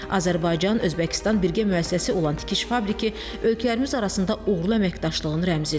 Azərbaycan, Özbəkistan birgə müəssisəsi olan tikiş fabriki ölkələrimiz arasında uğurlu əməkdaşlığın rəmzidir.